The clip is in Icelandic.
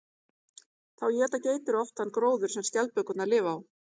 Þá éta geitur oft þann gróður sem skjaldbökurnar lifa á.